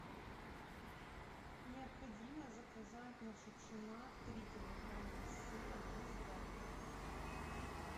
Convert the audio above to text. необходимо заказать на шукшина три килограмма сыра маасдам